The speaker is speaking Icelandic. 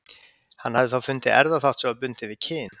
Hann hafði fundið erfðaþátt sem var bundinn við kyn.